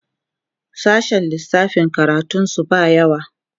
sashen lissafi karatun su ba yawa